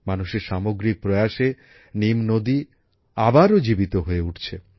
মানুষের সামগ্রিক প্রয়াসে নীম নদী আবারও জীবিত হয়ে উঠছে